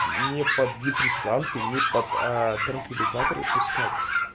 не под депрессанты не под аа транквилизаторы пускать